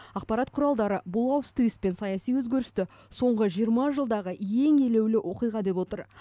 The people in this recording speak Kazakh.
ақпарат құралдары бұл ауыс түйіс пен саяси өзгерісті соңғы жиырма жылдағы ең елеулі оқиға деп отыр